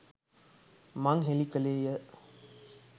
මං හෙළි කළේ ය